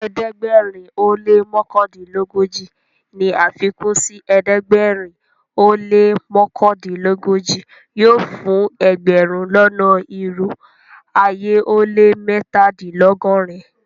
Ẹdẹgbẹ̀rin o lẹ́ mọkandinlọgọ́ji ní afikun sí ẹdẹgbẹ̀rin o lẹ́ mọkandinlọgọ́ji yóò fún ẹgbẹ̀rún lọ́nà irò ayé ó lẹ́ mẹ́tàdìnlọ́gọ́rin.